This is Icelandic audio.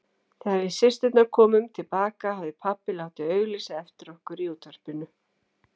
Þegar við systurnar komum til baka hafði pabbi látið auglýsa eftir okkur í útvarpinu.